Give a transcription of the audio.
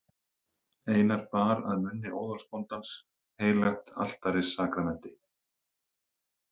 Einar bar að munni óðalsbóndans heilagt altarissakramenti.